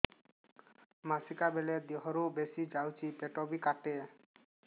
ମାସିକା ବେଳେ ଦିହରୁ ବେଶି ଯାଉଛି ପେଟ ବି କାଟେ